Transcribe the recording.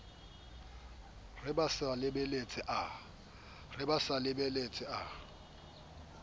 re ba sa lebeletse a